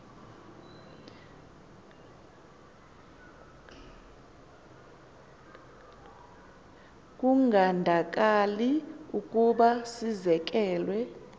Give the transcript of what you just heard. kungandakali ukuba sizekelwe